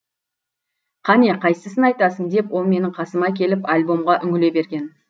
қане қайсысын айтасың деп ол менің қасыма келіп альбомға үңіле берген